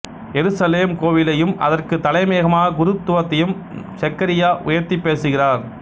எருசலேம் கோவிலையும் அதற்குத் தலைமையாகக் குருத்துவத்தையும் செக்கரியா உயர்த்திப் பேசுகிறார்